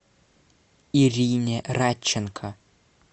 ирине радченко